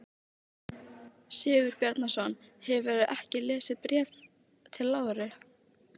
Sigurbjarnarson, hefurðu ekki lesið Bréf til Láru?